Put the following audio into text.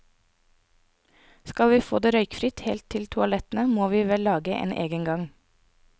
Skal vi få det røykfritt helt til toalettene, må vi vel lage en egen gang.